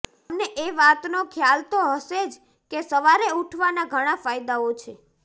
તમને એ વાતનો ખ્યાલ તો હશે જ કે સવારે ઊઠવાના ઘણાં ફાયદાઓ છે